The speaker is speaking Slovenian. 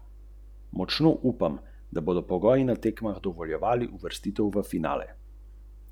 Res, prava Sončna avtocesta.